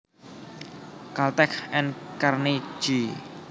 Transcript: Caltech and Carnegie